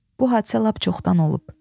Bu hadisə lap çoxdan olub.